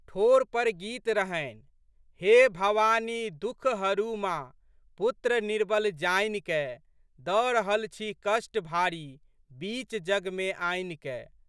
ठोर पर गीत रहनिहे भवानी दुःख हरू मा पुत्र निर्बल जानि कए, दऽ रहल छी कष्ट भारी बीच जगमे आनिकए।